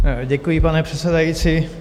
Děkuji, pane předsedající.